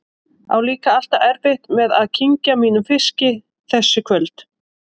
Á líka alltaf erfitt með að kyngja mínum fiski þessi kvöld.